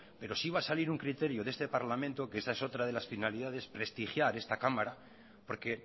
pero sí va a salir un criterio de este parlamento que esta es otra de las finalidades prestigiar esta cámara porque